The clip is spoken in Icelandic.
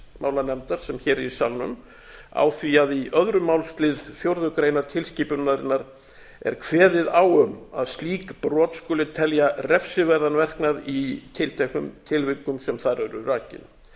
utanríkismálanefndar sem hér er í salnum á því að í öðrum málsl fjórðu grein tilskipunarinnar er kveðið á eða á slík brot skuli telja refsiverðan verknað í tilteknum tilvikum sem þar eru rakin